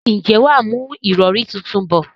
ǹjẹ́ wà á mú ìrọrí tuntun bọ̀?